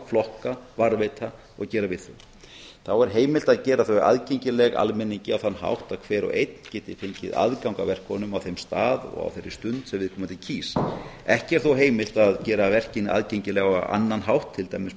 flokka varðveita og gera við þau þá er heimilt að gera þau aðgengileg almenningi á þann hátt að hver og einn geti fengið aðgang að verkefnunum á þeim stað og á þeirri stund sem viðkomandi kýs ekki er þó heimilt að gera verkin aðgengileg á annan hátt til dæmis